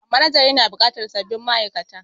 Manajan yana bukatar sabbin ma'aikata